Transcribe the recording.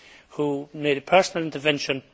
who made a personal intervention.